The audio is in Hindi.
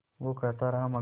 वो कहता रहा मगर